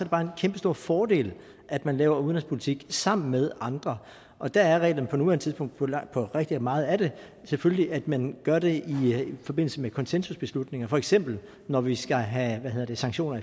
bare en kæmpestor fordel at man laver udenrigspolitik sammen med andre og der er reglerne på nuværende tidspunkt på på rigtig meget af det selvfølgelig at man gør det i forbindelse med konsensusbeslutninger for eksempel når vi skal have sanktioner